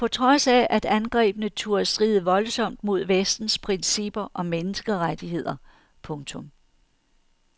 På trods af at angrebene turde stride voldsomt mod vestens principper om menneskerettigheder. punktum